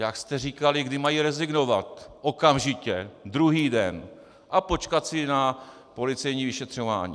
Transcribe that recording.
Jak jste říkali, kdy mají rezignovat okamžitě, druhý den a počkat si na policejní vyšetřování.